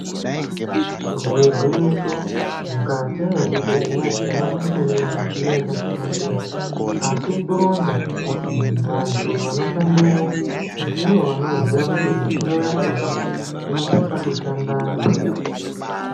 Kubhuye gwinyiso, mukati mezvibhedhlera tinoone kuti mune midziyo yakasiyana-siyana asi kuronza, vantu vanoshandemo, ndivo vanoziya kuti midziyo yakhona inosisa kushanda zvakadini.